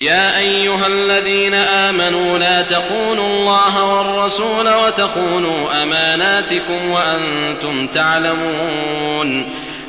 يَا أَيُّهَا الَّذِينَ آمَنُوا لَا تَخُونُوا اللَّهَ وَالرَّسُولَ وَتَخُونُوا أَمَانَاتِكُمْ وَأَنتُمْ تَعْلَمُونَ